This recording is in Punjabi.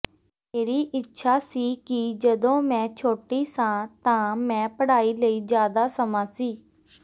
ਮੇਰੀ ਇੱਛਾ ਸੀ ਕਿ ਜਦੋਂ ਮੈਂ ਛੋਟੀ ਸਾਂ ਤਾਂ ਮੈਂ ਪੜ੍ਹਾਈ ਲਈ ਜ਼ਿਆਦਾ ਸਮਾਂ ਸੀ